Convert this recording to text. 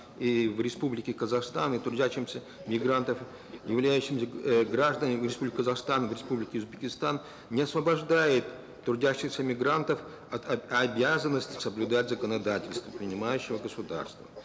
и в республике казахстан и трудящимся мигрантов являющимся э гражданами республики казахстан в республике узбекистан не освобождает трудящихся мигрантов от обязанности соблюдать законодательство принимающего государства